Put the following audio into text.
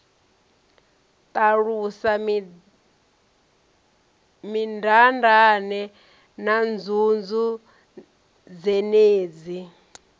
ṱalusa mindaandaane na nzunzu dzenedzi